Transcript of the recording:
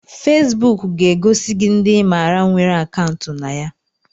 Fesebuk ga-egosi gị ndị ịmara nwere akaụntụ na ya